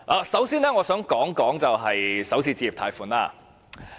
首先，我想談談首次置業貸款。